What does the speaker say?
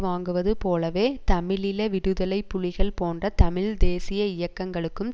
வாங்குவது போலவே தமிழீழ விடுதலை புலிகள் போன்ற தமிழ் தேசிய இயக்கங்களுக்கு